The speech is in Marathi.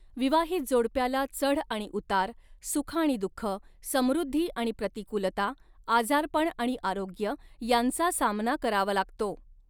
विवाहित जोडप्याला चढ आणि उतार, सुख आणि दुःख, समृद्धी आणि प्रतिकूलता, आजारपण आणि आरोग्य यांचा सामना करावा लागतो.